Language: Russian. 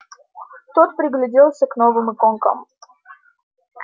тот пригляделся к новым иконкам